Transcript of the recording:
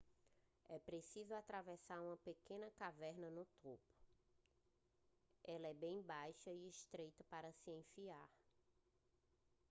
é preciso atravessar uma pequena caverna no topo ela é bem baixa e estreita para se enfiar